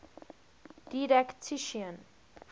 didactician